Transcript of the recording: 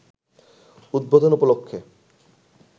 উদ্বোধন উপলক্ষে